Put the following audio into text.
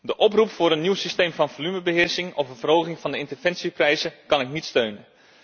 De oproep voor een nieuw systeem van volumebeheersing of een verhoging van de interventieprijzen kan ik niet steunen.